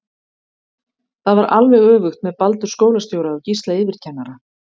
Það var alveg öfugt með Baldur skólastjóra og Gísla yfirkennara.